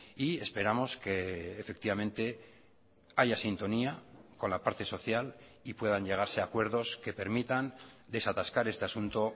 y esperamos que efectivamente haya sintonía con la parte social y puedan llegarse a acuerdos que permitan desatascar este asunto